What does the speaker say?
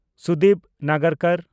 Sudip ᱱᱟᱜᱟᱨᱠᱚᱨ